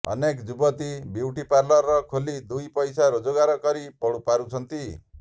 ଅନେକ ଯୁବତୀ ବିଉଟିପାର୍ଲର ଖୋଲି ଦୁଇ ପଇସା ରୋଜଗାର କରି ପାରୁଛନ୍ତି